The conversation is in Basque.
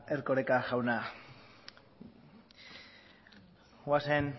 erkoreka jauna goazen